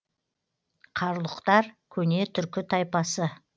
қарлұқтар көне түркі тайпасы